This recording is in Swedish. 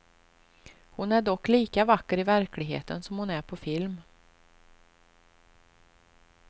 Hon är dock lika vacker i verkligheten som hon är på film.